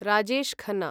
Rajesh Khanna